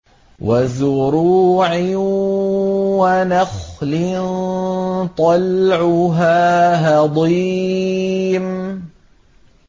وَزُرُوعٍ وَنَخْلٍ طَلْعُهَا هَضِيمٌ